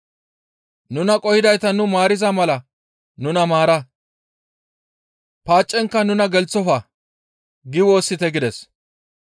Nuna qohidayta nu maariza mala nuna maara; paacenkka nuna gelththofa› gi woossite» gides.